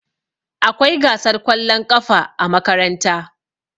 Akwai gasar kwallon ƙafa a makaranta.